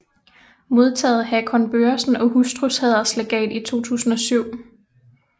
Modtaget Hakon Børresen og hustrus Hæderslegat 2007